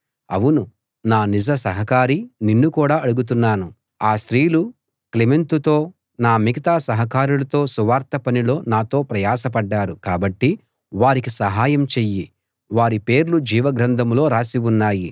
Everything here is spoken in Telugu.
అవును నా నిజ సహకారీ నిన్ను కూడా అడుగుతున్నాను ఆ స్త్రీలు క్లెమెంతుతో నా మిగతా సహకారులతో సువార్త పనిలో నాతో ప్రయాసపడ్డారు కాబట్టి వారికి సహాయం చెయ్యి వారి పేర్లు జీవ గ్రంథంలో రాసి ఉన్నాయి